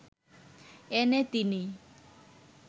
এনে তিনি